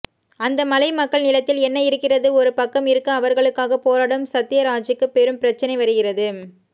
அந்த மலை மக்கள் நிலத்தில் என்ன இருக்கிறது ஒரு பக்கம் இருக்க அவர்களுக்காக போராடும் சத்யராஜ்க்கு பெரும் பிரச்சனை வருகிறது